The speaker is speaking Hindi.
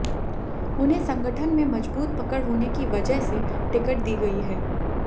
उन्हें संगठन में मजबूत पकड़ होने की वजह से टिकट दी गई है